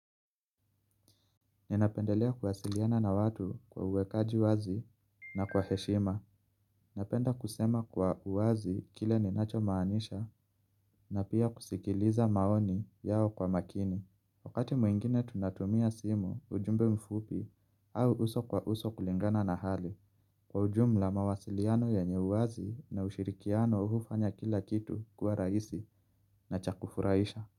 Ninapendelea kuwasiliana na watu kwa uwekaji wazi na kwa heshima. Napenda kusema kwa uwazi kile ninachomaanisha na pia kusikiliza maoni yao kwa makini. Wakati mwingine tunatumia simu, ujumbe mfupi au uso kwa uso kulingana na hali. Kwa ujumla mawasiliano yenye uwazi na ushirikiano hufanya kila kitu kuwa rahisi na cha kufurahisha.